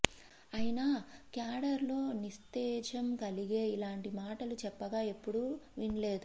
అయినా క్యాడర్లో నిస్తేజం కలిగే ఇలాంటి మాటలు చెప్పగా ఎప్పుడూ విన్లేదు